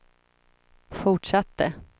fortsatte